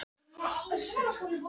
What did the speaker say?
Hún var fögur sem fyrr og jafn